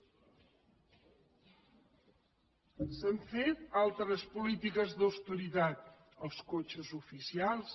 s’han fet altres polítiques d’austeritat els cotxes oficials